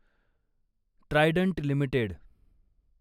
Trident limited